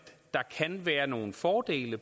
der kan være nogle fordele